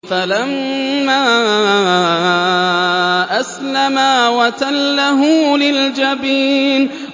فَلَمَّا أَسْلَمَا وَتَلَّهُ لِلْجَبِينِ